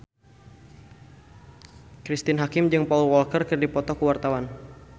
Cristine Hakim jeung Paul Walker keur dipoto ku wartawan